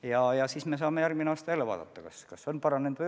Ja järgmine aasta me saame vaadata, kas on lood paranenud või ei ole.